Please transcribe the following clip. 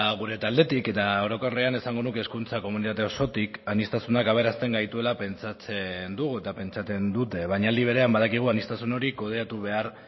gure taldetik eta orokorrean esango nuke hezkuntza komunitate osotik aniztasunak aberasten gaituela pentsatzen dugu eta pentsatzen dute baina aldi berean badakigu aniztasun hori kudeatu behar